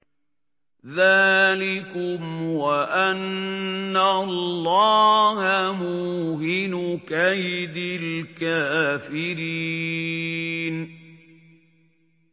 ذَٰلِكُمْ وَأَنَّ اللَّهَ مُوهِنُ كَيْدِ الْكَافِرِينَ